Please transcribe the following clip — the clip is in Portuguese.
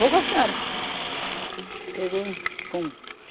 Vou com a senhora. Pegou, fomos